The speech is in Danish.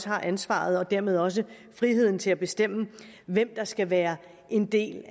har ansvaret og dermed også friheden til at bestemme hvem der skal være en del